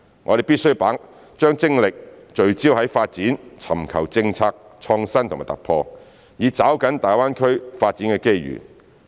我們必須把精力聚焦於發展，尋求政策創新和突破，以抓緊大灣區發展的機遇。